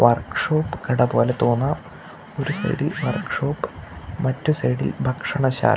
work shop കട പോലെ തോന്നാം ഒരു സൈഡിൽ വർക്ക് ഷോപ്പ് മറ്റ് സൈഡിൽ ഭക്ഷണശാല--